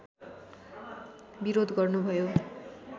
विरोध गर्नुभयो